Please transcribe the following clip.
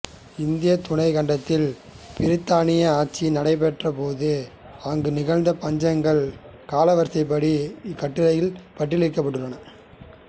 இந்தியத் துணைக்கண்டத்தில் பிரித்தானியர் ஆட்சி நடைபெற்ற போது அங்கு நிகழ்ந்த பஞ்சங்கள் காலவரிசைப்படி இக்கட்டுரையில் பட்டியலிடப்பட்டுள்ளன